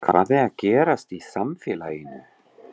Hvað er að gerast í samfélaginu?